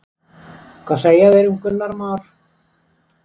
Hvað segja þeir um Gunnar Már?